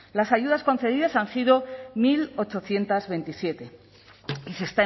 las ayudas concedidas han sido mil ochocientos veintisiete y se